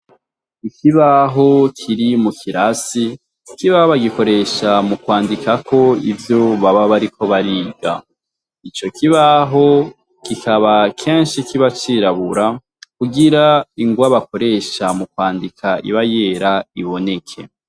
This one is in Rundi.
Ikibaho kiri mukirasi ikibaho bagikoresha mukwandikako ivyo baba bariko bariga. Icokibaho kikaba keshi kiba cirabura kugira ingwa bakoresha mukwandika iba yera iboneke.